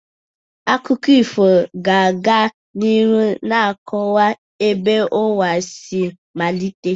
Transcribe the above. Akụkọ ifo ga-aga n'ihu na-akọwa ebe ụwa si malite.